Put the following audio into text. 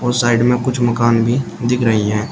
और साइड में कुछ मकान भी दिख रही हैं।